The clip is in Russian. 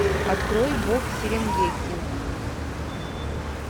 открой бог серенгети